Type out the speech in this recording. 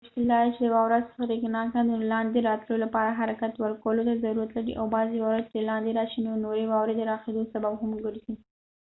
مشکل دادی چې واوره سریښناکه ده نو د لاندې راتلو لپاره حرکت ورکولو ته ضرورت لري او بعضې واوره چې لاندې راشي نو د نورې واورې د راښویدو سبب هم ګرځې